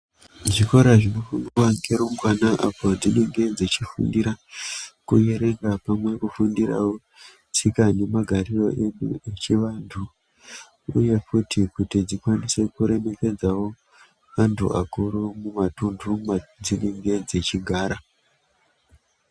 Zvikora zvinofundwa ngerumbwana apo dzinenge dzechifundira kuerenga pamwe nekufundirawo tsika nemagariro edu echivanhu uye futi kuti dzikwanise kuremekedzawo vanhu vakuru mumatunhu edzinenege dzichigara.